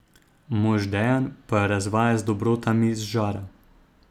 Mož Dejan pa jo razvaja z dobrotami z žara.